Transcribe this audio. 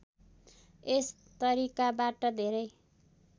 यस तरिकाबाट धेरै